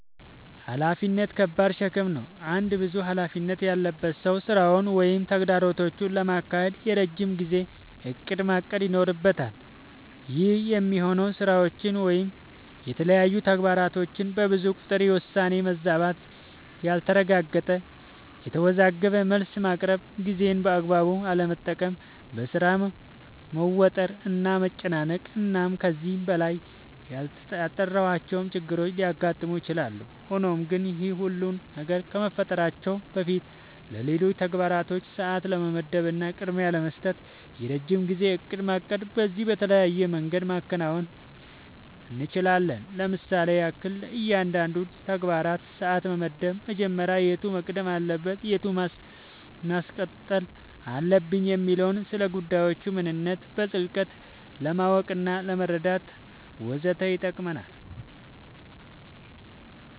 ኃላፊነት ከባድ ሸክም ነው። አንድ ብዙ ኃላፊነት ያለበት ሰው ስራውን ወይም ተግባራቶቹን ለማካሄድ የረጅም ጊዜ እቅድ ማቀድ ይኖርበታል። ይህ የሚሆነው ስራዎች ወይም የተለያዩ ተግባራቶች በብዙ ቁጥር የውሳኔ መዛባት ያልተረጋገጠ፣ የተወዘጋገበ መልስ ማቅረብ፣ ጊዜን በአግባቡ አለመጠቀም፣ በሥራ መወጠር እና መጨናነቅ እና ከዚህ በላይ ያልጠራሁዋቸው ችግሮች ሊያጋጥሙ ይችላሉ። ሆኖም ግን ይህ ሁሉ ነገር ከመፈጠራቸው በፊትለሌሎች ተግባራቶች ሰዓት ለመመደብ እና ቅድሚያ ለመስጠት የረጅም ጊዜ እቅድ ማቀድ በዚህም በተለያየ መንገድ ማከናወን እንችላለኝ ለምሳሌም ያክል፦ ለእያንዳንዱ ተግባራችን ሰዓት መመደብ መጀመሪያ የቱ መቅደም አለበት የቱን ማስቀጠል አለብኝ የሚለውን፣ ስለጉዳዮቹ ምንነት በጥልቀት ለማወቅናለመረዳት ወዘተ ይጠቅመናል።